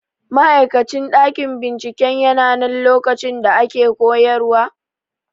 Ma'aikacin ɗakin binciken yananan lokacin da ake koyarwa?